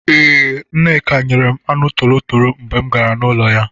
Ee, Nneka nyere m anụ torotoro mgbe m gara n'ụlọ ya.